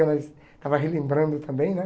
Ela estava relembrando também, né?